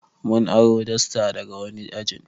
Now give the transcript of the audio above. Muna aro dasta daga wani ajin